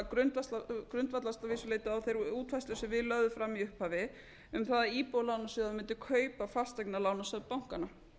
grundvallast að vissu leyti á þeirri útfærslu sem við lögðum fram í upphafi um það að íbúðalánasjóður mundi kaupa fasteignalánasöfn bankanna